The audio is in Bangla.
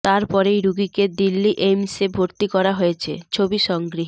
তারপরেই রোগীকে দিল্লি এইমসে ভর্তি করা হয়েছে ছবি সংগৃহীত